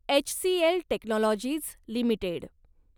HCL technologies limited